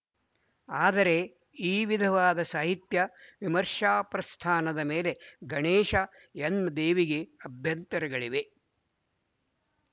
ಆದರೆ ಈ ವಿಧವಾದ ಸಾಹಿತ್ಯ ವಿಮರ್ಶಾಪ್ರಸ್ಥಾನದ ಮೇಲೆ ಗಣೇಶ ಎನ್ ದೇವಿಗೆ ಅಭ್ಯಂತರಗಳಿವೆ